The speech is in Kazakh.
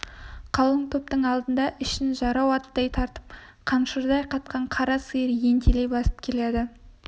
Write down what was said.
қалың топтың алдында ішін жарау аттай тартып қаншырдай катқан қара сиыр ентелей басып келеді